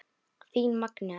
Þín Magnea.